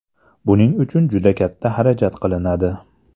Buning uchun juda katta xarajat qilinadi.